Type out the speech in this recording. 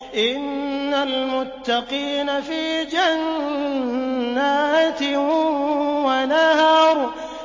إِنَّ الْمُتَّقِينَ فِي جَنَّاتٍ وَنَهَرٍ